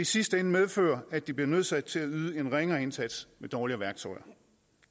sidste ende medføre at de bliver nødsaget til at yde en ringere indsats med dårlige værktøjer